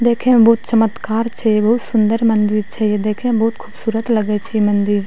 देखे में बोहुत चमतकार छे बोहुत सुन्दर मंदिर छे देखे में बोहुत खूबसूरत लगई छे मंदिर।